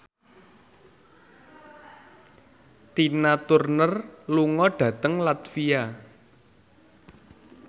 Tina Turner lunga dhateng latvia